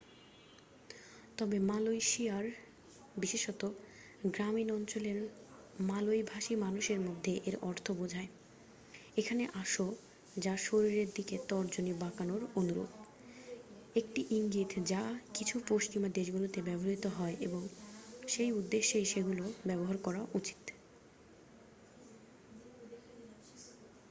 "তবে মালয়েশিয়ায় বিশেষত গ্রামীণ অঞ্চলে মালয় ভাষী মানুষের মধ্যে এর অর্থ বোঝায় "এখানে আসো" যা শরীরের দিকে তর্জনী বাঁকানোর অনুরূপ একটি ইঙ্গিত যা কিছু পশ্চিমা দেশগুলিতে ব্যবহৃত হয় এবং সেই উদ্দেশ্যেই সেগুলো ব্যবহার করা উচিত।